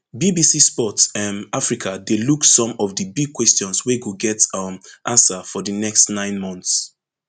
bbc sport um africa dey look some of di big questions wey go get um answer for di next nine months